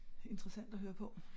Interessant at høre på